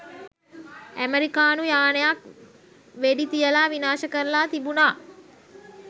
ඇමරිකානු යානයක් වෙඩි තියලා විනාශ කරලා තිබුනා.